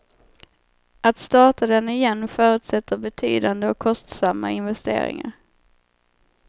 Att starta den igen förutsätter betydande och kostsamma investeringar.